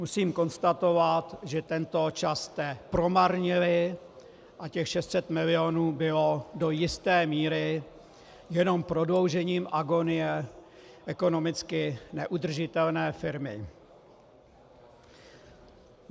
Musím konstatovat, že tento čas jste promarnili a těch 600 milionů bylo do jisté míry jenom prodloužením agonie ekonomicky neudržitelné firmy.